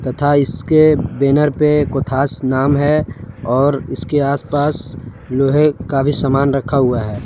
तथा इसके बैनर पे कोठास नाम है और इसके आस पास लोहे का भी सामान रखा हुआ है।